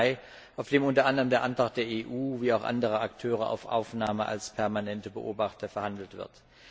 15. Mai, auf dem unter anderem der Antrag der EU wie auch anderer Akteure auf Aufnahme als permanente Beobachter verhandelt wird.